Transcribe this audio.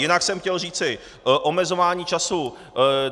Jinak jsem chtěl říci - omezování času.